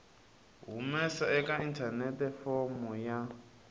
humesa eka inthanete fomo ya